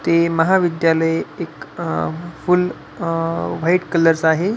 ते महाविद्यालय एक अह फूल अह व्हाइट कलर च आहे.